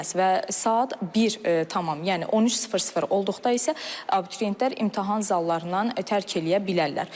Və saat 1 tamam, yəni 13:00 olduqda isə abituriyentlər imtahan zallarından tərk eləyə bilərlər.